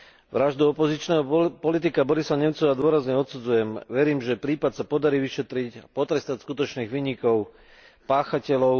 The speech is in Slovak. Vraždu opozičného politika Borisa Nemcova dôrazne odsudzujem, verím, že prípad sa podarí vyšetriť, potrestať skutočných vinníkov, páchateľov.